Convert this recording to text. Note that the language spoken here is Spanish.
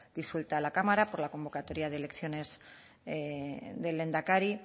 disuelta la cámara por la convocatoria de elecciones del lehendakari